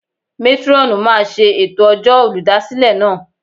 Métrọ́ọ̀nù máa ṣe ètò ọjọ́ olùdásílẹ̀ náà.